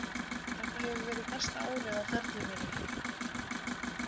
Þetta hefur verið besta árið á ferli mínum.